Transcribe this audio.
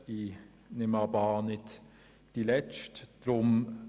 Ich nehme aber an, es wird nicht die letzte sein.